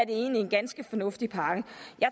egentlig en ganske fornuftig pakke